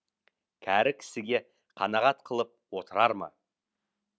кәрі кісіге қанағат қылып отырар ма